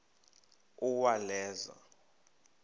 uwaleza